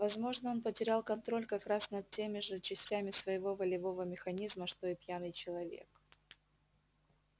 возможно он потерял контроль как раз над теми же частями своего волевого механизма что и пьяный человек